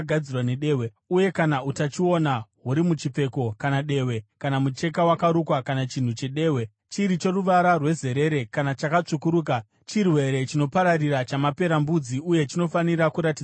uye kana utachiona huri muchipfeko kana dehwe kana mucheka wakarukwa kana chinhu chedehwe, chiri choruvara rwezerere kana chakatsvukuruka, chirwere chinopararira chamaperembudzi uye chinofanira kuratidzwa kumuprista.